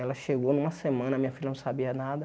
Ela chegou numa semana, minha filha não sabia nada.